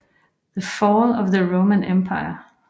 The Fall of the Roman Empire